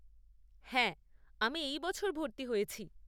হ্যাঁ, আমি এই বছর ভর্তি হয়েছি।